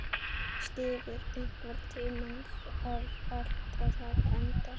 Stígur, einhvern tímann þarf allt að taka enda.